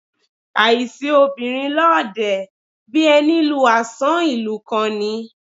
Àìsi obìnrin lọ́ọ̀dẹ̀, bí ẹni lu àsán ìlú kan ni.